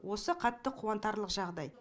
осы қатты қуантарлық жағыдай